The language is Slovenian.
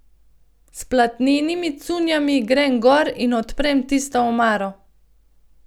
S platnenimi cunjami grem gor in odprem tisto omaro.